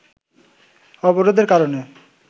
অবরোধের কারণে